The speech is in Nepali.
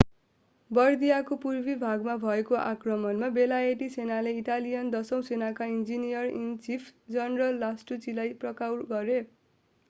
बर्दियको पूर्वी भागमा भएको आक्रमणमा बेलायती सेनाले ईटालियन दसौं सेनाका ईन्जिनियर-इन-चीफ जनरल लास्टुचीलाई पक्राउ गरें